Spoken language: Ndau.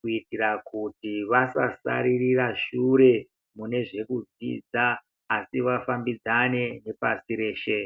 kuitira kuti vasasaririra shure mune zvekudzidza asi vafambidzane nepasi reshe.